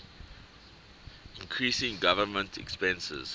increasing government expenses